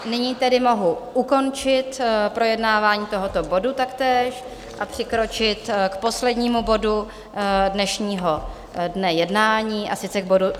Nyní tedy mohu ukončit projednávání tohoto bodu taktéž a přikročit k poslednímu bodu dnešního dne jednání, a sice k bodu